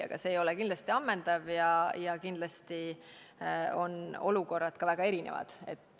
Aga see ei ole kindlasti ammendav ja kindlasti on olukorrad ka väga erinevad.